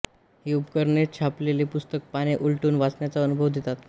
ही उपकरणे छापलेले पुस्तक पाने उलटून वाचण्याचा अनुभव देतात